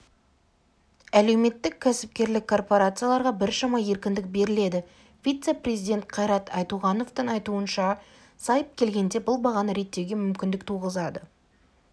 әлеуметтік-кәсіпкерлік корпорацияларға біршама еркіндік беріледі вице-министр қайрат айтуғановтың айтуынша сайып келгенде бұл бағаны реттеуге мүмкіндік туғызады